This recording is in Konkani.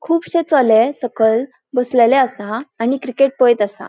खुबशे चले सकयल बसलेले आसा आणि क्रिकेट पळेत असा.